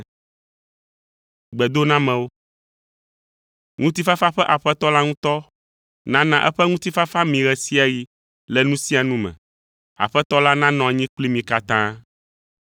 Ŋutifafa ƒe Aƒetɔ la ŋutɔ nana eƒe ŋutifafa mi ɣe sia ɣi le nu sia nu me. Aƒetɔ la nanɔ anyi kpli mi katã.